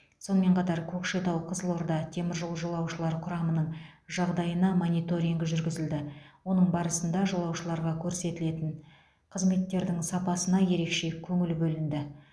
сонымен қатар көкшетау қызылорда теміржол жолаушылар құрамының жағдайына мониторинг жүргізілді оның барысында жолаушыларға көрсетілетін қызметтердің сапасына ерекше көңіл бөлінді